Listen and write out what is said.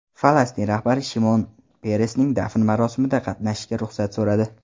Falastin rahbari Shimon Peresning dafn marosimida qatnashishga ruxsat so‘radi.